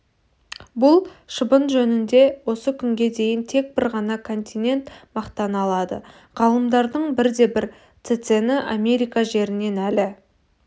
бұл шыбын жөнінде осы күнге дейін тек бір ғана континент мақтана алады ғалымдардың бірде-бірі цецені америка жерінен әлі